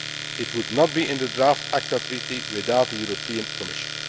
It would not be in the draft ACTA Treaty without the European Commission.